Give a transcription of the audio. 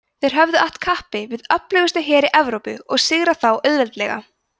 þeir höfðu att kappi við öflugustu heri evrópu og sigrað þá auðveldlega